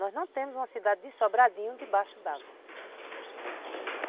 Nós não temos uma cidade de Sobradinho debaixo d'água.